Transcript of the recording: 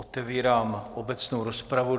Otevírám obecnou rozpravu.